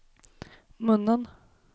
munnen